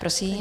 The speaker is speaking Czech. Prosím.